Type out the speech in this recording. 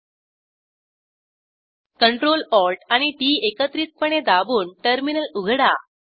CTRL ATL आणि TT एकत्रितपणे दाबून टर्मिनल उघडा